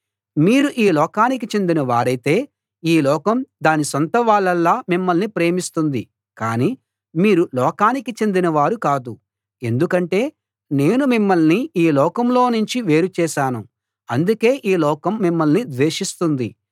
మీరు ఈ లోకానికి చెందిన వారైతే ఈ లోకం దాని సొంతవాళ్ళలా మిమ్మల్ని ప్రేమిస్తుంది కాని మీరు లోకానికి చెందిన వారు కాదు ఎందుకంటే నేను మిమ్మల్ని ఈ లోకంలోనుంచి వేరు చేశాను అందుకే ఈ లోకం మిమ్మల్ని ద్వేషిస్తుంది